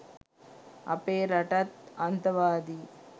අපේ රටත් අන්තවාදී